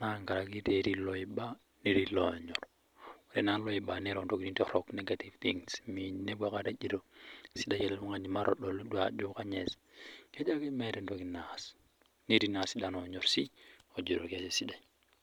naa inkangitie etii loiba, netii loonyorr, ore naa loiba neiro intokitin torrok negative thins mepo aikata ejo sidai ale tungani matedolu doi ajo ,kejo ake meeta entoki neas, neti sii sidano onyorr sii ejoto ketii sidai.